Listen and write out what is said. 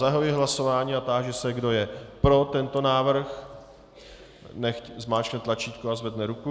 Zahajuji hlasování a táži se, kdo je pro tento návrh, nechť zmáčkne tlačítko a zvedne ruku.